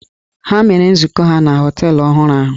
Ha mere nzukọ ha na họteelụ ọhụrụ ahụ.